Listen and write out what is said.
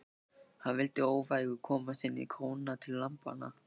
Hann vildi óvægur komast inn í króna til lambanna.